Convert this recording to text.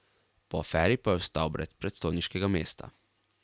Po aferi pa je ostal brez predstojniškega mesta.